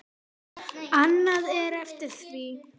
Annað er eftir því.